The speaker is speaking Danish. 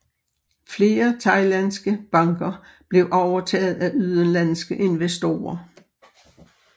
Flere thailandske banker blev overtaget af udenlandske investorer